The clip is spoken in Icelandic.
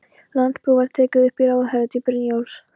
Landspróf var tekið upp í ráðherratíð Brynjólfs